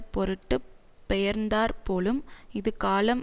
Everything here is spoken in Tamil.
பொருட்டு பெயர்ந்தாற் போலும் இது காலம்